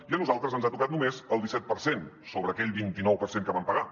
i a nosaltres ens ha tocat només el disset per cent sobre aquell vint i nou per cent que vam pagar